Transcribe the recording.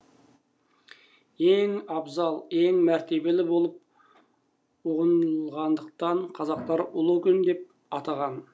ең абзал ең мәртебелі болып ұғынылғандықтан қазақтар ұлы күн деп атаған